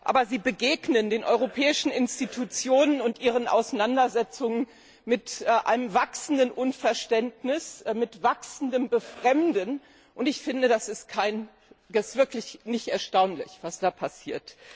Aber sie begegnen den europäischen Institutionen und ihren Auseinandersetzungen mit einem wachsenden Unverständnis, mit wachsendem Befremden, und ich finde, es ist wirklich nicht erstaunlich, was da passiert.